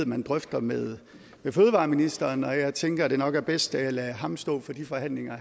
man drøfter med fødevareministeren og jeg tænker at det nok er bedst at jeg lader ham stå for de forhandlinger